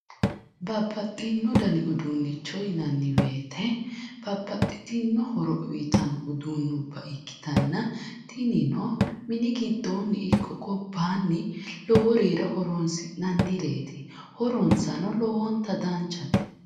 Babbaxxino dani uduunnicho yinanniwoyite babbaxxitino horo uyitanno uduunnubba ikkitanna tinino mini giddoonni ikko gobbaanni loworira horoonsi'nannireeti horonsano lowonta danchate.